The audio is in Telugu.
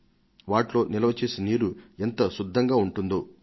ఈ గుంటలలో సేకరించిన నీరు ఎంత పరిశుభ్రంగా ఉండేదో